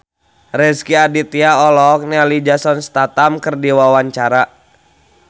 Rezky Aditya olohok ningali Jason Statham keur diwawancara